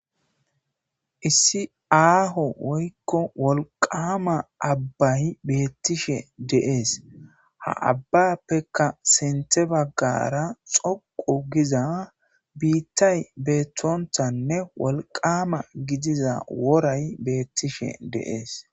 Issi aaho woykko wolqama abbay beettishe deees ha abbappekka sente baggara xoqu giza biittay beettontanne wolqama gidiza woray beettishe deees.